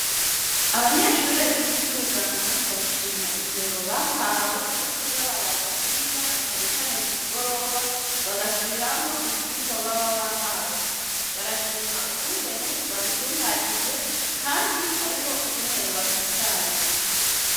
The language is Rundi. Abanyeshuri biga ivyo ubuganga barashima ingingo bahawe yo kuzabaraza kwiga nacanecane ku migoroba bagasubiramwo ivyirwa baba bahawe barashima ukungene babitunganije, kandi hariho ukungene bafashanya.